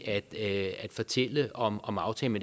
at fortælle om om aftalen